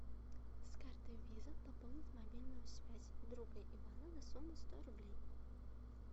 с карты виза пополнить мобильную связь друга ивана на сумму сто рублей